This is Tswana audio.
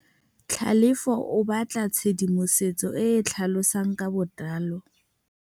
Tlhalefô o batla tshedimosetsô e e tlhalosang ka botlalô.